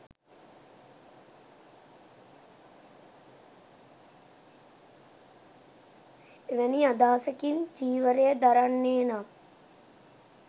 එවැනි අදහසකින් චීවරය දරන්නේ නම්